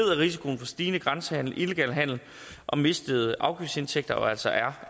risikoen for stigende grænsehandel illegal handel og mistede afgiftsindtægter jo altså er